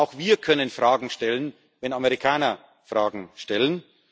Auch wir können Fragen stellen, wenn Amerikaner Fragen stellen.